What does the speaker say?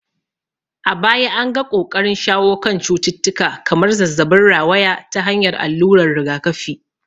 A baya an ga ƙoƙarin shawo kan cututtuka kamar zazzabin rawaya ta hanyar alluran rigakafi.